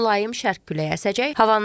Mülayim şərq küləyi əsəcək.